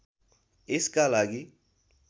यसका लागि